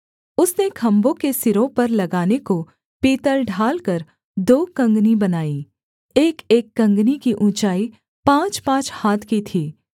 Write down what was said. उसने खम्भों के सिरों पर लगाने को पीतल ढालकर दो कँगनी बनाई एकएक कँगनी की ऊँचाई पाँचपाँच हाथ की थी